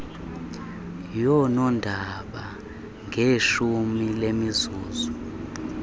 yoonondaba ngeshumi lemizuzu